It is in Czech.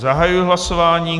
Zahajuji hlasování.